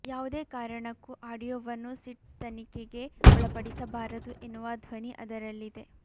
ಯಾವುದೇ ಕಾರಣಕ್ಕೂ ಆಡಿಯೊವನ್ನು ಸಿಟ್ ತನಿಖೆಗೆ ಒಳಪಡಿಸಬಾರದು ಎನ್ನುವ ಧ್ವನಿ ಅದರಲ್ಲಿದೆ